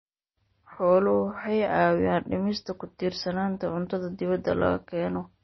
Xooluhu waxay caawiyaan dhimista ku tiirsanaanta cuntada dibadda laga keeno.